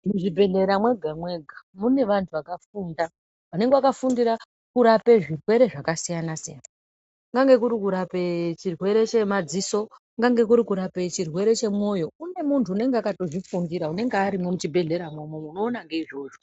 Muzvibhedhlera mwega mwega mune antu akafunda vanenge vakafundira kurape zvirwere zvakasiyana siyana kungange kuri kurape chirwere chemadziso, kungange kurikurape chirwere chemwoyo .Kune muntu unenge vakazvifundira unenge urimwo muchibhehleramwo umwomwo unoona ngeizvozvo.